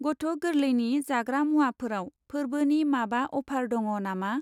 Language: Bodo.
गथ' गोरलैनि जाग्रा मुवाफोराव फोरबोनि माबा अफार दङ नामा?